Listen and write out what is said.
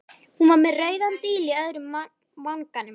Hún var með rauðan díl í öðrum vanganum.